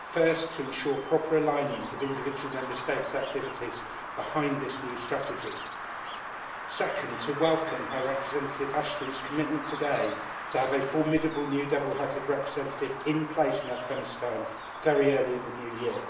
first to ensure proper alignment of individual Member States' activities behind this new strategy and, second, to welcome High Representative Ashton's commitment today to have a formidable new double hatted representative in place in Afghanistan very early in the New Year.